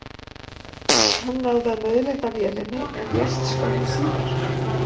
Hann náði að nauðlenda vélinni en lést skömmu síðar.